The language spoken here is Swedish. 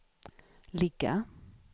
ligga